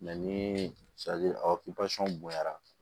ni aw ka bonyara